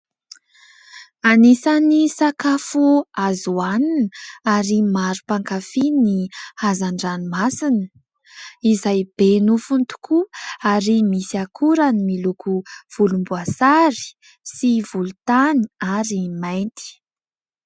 Anisan'ny sakafo azo hoanina ary maro mpankafy ny hazan-dranomasina izay be nofony tokoa ary misy akorany miloko volomboasary sy volontany ary mainty.